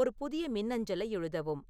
ஒரு புதிய மின்னஞ்சலை எழுதவும்